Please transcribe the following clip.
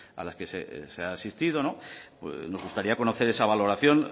a las que se ha asistido nos gustaría conocer esa valoración